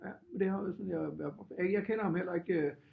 Ja det har været sådan jeg jeg øh jeg kender ham heller ikke